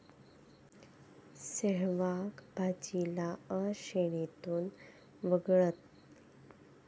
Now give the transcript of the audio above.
सेहवाग, भज्जीला 'अ' श्रेणीतून वगळलं